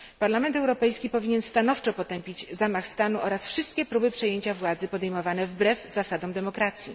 Parlament Europejski powinien stanowczo potępić zamach stanu oraz wszystkie próby przejęcia władzy podejmowane wbrew zasadom demokracji.